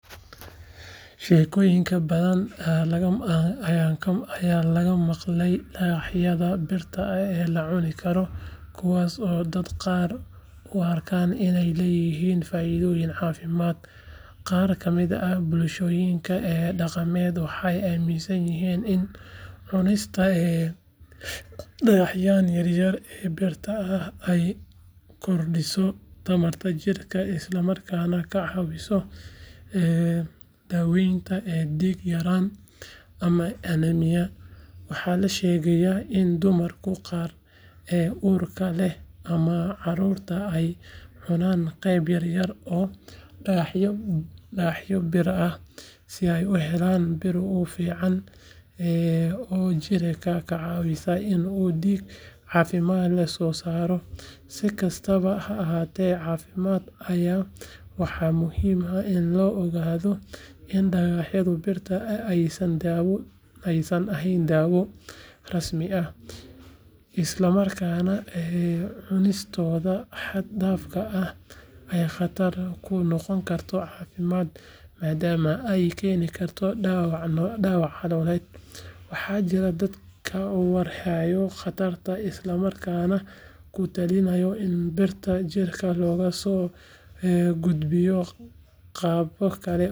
Sheekooyin badan ayaa laga maqlay dhagaxyada birta ah ee la cuni karo kuwaas oo dadka qaar u arka inay leeyihiin faa’iidooyin caafimaad. Qaar ka mid ah bulshooyinka dhaqameed waxay aaminsan yihiin in cunista dhagaxyadan yar yar ee birta ah ay kordhiso tamarta jirka isla markaana ka caawiso daaweynta dhiig-yaraan ama anemia. Waxa la sheegay in dumarka qaar ee uurka leh ama caruurta ay cunaan qaybo yar yar oo dhagaxyo bir ah si ay u helaan bir ku filan oo jirka ka caawisa in uu dhiig caafimaad leh soo saaro. Si kastaba ha ahaatee, caafimaad ahaan waxaa muhiim ah in la ogaado in dhagaxyada birta ah aysan ahayn daawo rasmi ah, isla markaana cunistooda xad dhaafka ahi ay khatar ku noqon karto caafimaadka maadaama ay keeni karto dhaawac caloosha ah. Waxaa jira dad ka warhelay khatartaas, isla markaana ku talinaya in birta jirka loogu soo gudbiyo qaabab kale oo caafimaad.